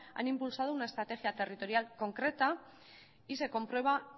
han impulsado una estrategia territorial concreta y se comprueba